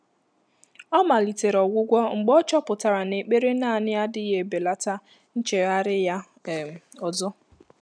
Ọ́ màlị̀tèrè ọ́gwụ́gwọ́ mgbè ọ́ chọ́pụ́tàrà nà ékpèré nāànị́ ádị́ghị́ èbèlàtà nchéghárị́ yá um ọ́zọ́.